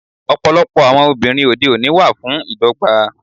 Ọ̀pọ̀lọpọ̀ àwọn obìnrin òde òní wà fún ìdọ́gba.